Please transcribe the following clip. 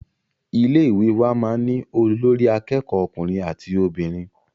Ilé ìwé wa máà ń ní olórí àkẹ́kọ̀ọ ọkùnrin àti obìnrin.